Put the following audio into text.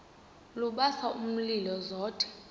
lubasa umlilo zothe